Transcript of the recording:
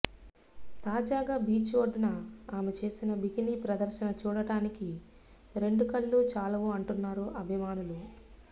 తాజాగా బీచ్ ఒడ్డున ఆమె చేసిన బికినీ ప్రదర్శన చూడటానికి రెండు కళ్లు చాలవు అంటున్నారు అభిమానులు